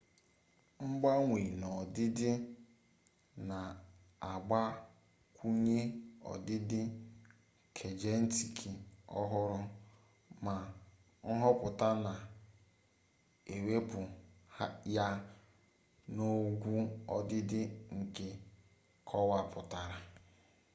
mgbanwe n'ọdịdị na-agbakwunye ọdịdị kejenetiki ọhụrụ ma nhọpụta na-ewepụ ya n'ogwu ọdịdị nke a kọwapụtara